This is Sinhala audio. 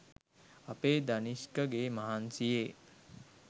අපේ දනිෂ්කගේ මහන්සියේ